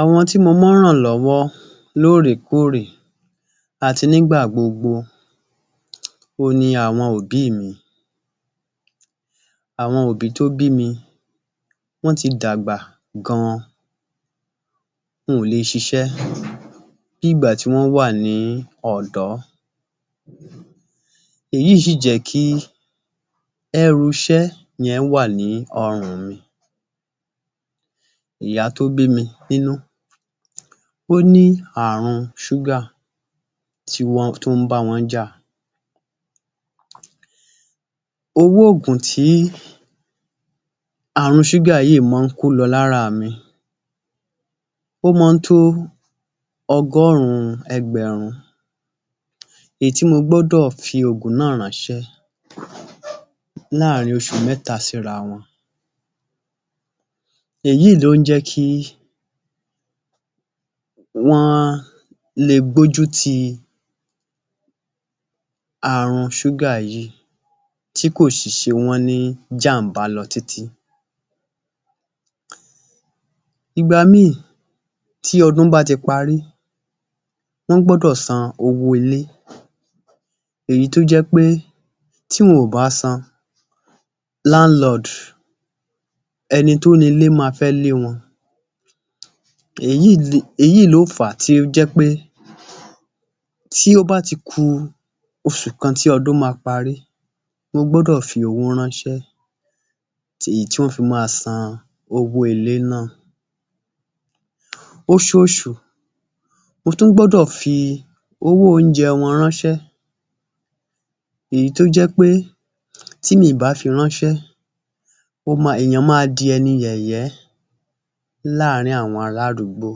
Àwọn tí mo mọ́ ń ràn lọ́wọ́ lóòrè-kóòrè àti nígbà gbogbo, òhun ni àwọn òbí mi. Àwọn òbí tó bí mi, wọ́n ti dàgbà gan-an. Wọn ò le siṣẹ́ bíi ìgbà tí wọ́n wà ní ọ̀dọ́. Èyí sì jẹ́ kí ẹrù iṣẹ́ yẹn wà ní ọrùn mi. Ìyá tó bí mi nínú, ó ní àrùn ṣúgà tí wọ́n tún bá wọn ọ́n jà. Owó òògùn tí àrùn ṣúgà yìí mọ ń kó lọ lára mi, ó mọ ń tó ọgọ́rùn-ún ẹgbẹ̀rún, èyí tí mo gbọ́dọ̀ fi òògùn náà ránṣẹ́ láàrin oṣù mẹ́ta síra wọn. Èyí ló ń jẹ́ kí wọ́n le gbójú ti àrùn ṣúgà yìí tí kò sì ṣe wọ́n ní jàm̀bá lọ títí. Ìgbà míì tí ọdún bá ti parí, wọ́n gbọ́dọ̀ san owó ilé èyí tó jẹ́ pé tí wọn ò bá san, landlord, ẹni tó nílé ma fẹ́ lé wọn. Èyí ló fà á tó jẹ́ pé tí ó bá ti ku oṣù kan tí ọdún ma parí, mo gbọ́dọ̀ fi owó ránṣẹ́ èyí tí wọ́n fi ma san owó ilé náà. Oṣooṣù mo tún gbọ́dọ̀ fi owó oúnjẹ wọn ránṣẹ́, èyí tó jẹ́ pé tí mi ì bá fi ránṣẹ́, ó ma, èèyàn ma di ẹni yẹ̀yẹ́ láàárín àwọn ará àdúgbò.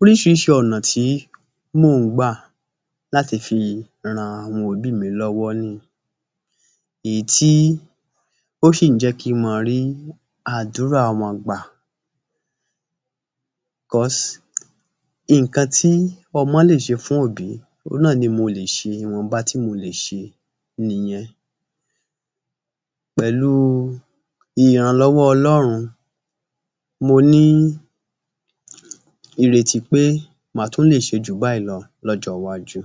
Oríṣìíríṣìí ọ̀nà tí mò ń gbà láti fi ran àwọn òbí mi lọ́wọ́ nìyí, èyí tí ó sì ń jẹ́ kí mọ rí àdúrà wọn gbà. Because nǹkan tí ọmọ lè ṣe fún òbí òhun náà ni mo lè ṣe, ìwọ̀nba tí mo lè ṣe nìyẹn. Pẹ̀lú ìrànlọ́wọ́ Ọlọ́run mo ní ìrètí pé màá tún lè ṣe jù báyìí lọ lọ́jọ́ iwájú.